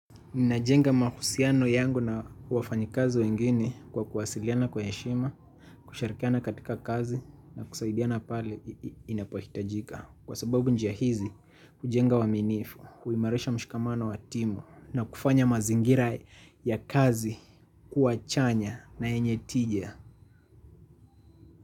Ninajenga mahusiano yangu na wafanyikazi wengine kwa kuwasiliana kwa heshima, kushirikiana katika kazi na kusaidiana pale inapohitajika. Kwa sababu njia hizi hujenga uaminifu, huimarisha mshikamana wa timu na kufanya mazingira ya kazi kuwa chanya na yenye tija.